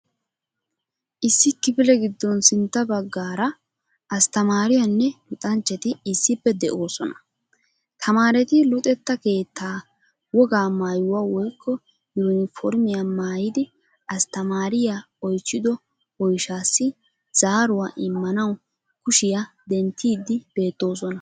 Issi kifile giddon sintta bagaara asttamaariyaanne luxxanchati issippe de"oosona. Tamaareti luxxetta keettaa wogaa maayuwaa woykko yuuniformiyaa maayidi asttamaariyaa oychido oyshaasi zaaruwaa immanawu kushiyaa denttiidi beettoosona.